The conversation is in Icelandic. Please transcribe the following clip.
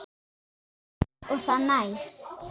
Eins langt og það nær.